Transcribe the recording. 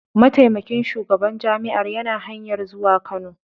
Mataimakin shugaban jami'ar yana hanyar zuwa Kano.